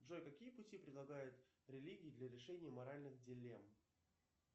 джой какие пути предлагает религия для решения моральных диллем